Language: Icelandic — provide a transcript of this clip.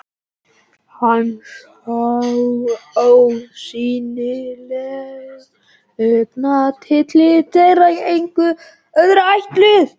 Hann sá ósýnileg augnatillit þeirra engum öðrum ætluð.